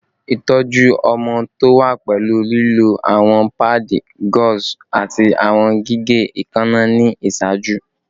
Itọju ọmọ to wa pẹlu lilo awọn paadi gauze ati awọn gige eekanna ni iṣaaju